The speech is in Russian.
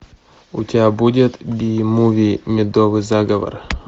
у тебя будет би муви медовый заговор